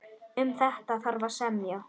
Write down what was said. Um þetta þarf að semja.